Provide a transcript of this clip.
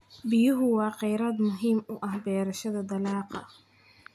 Biyuhu waa kheyraad muhiim u ah beerashada dalagga.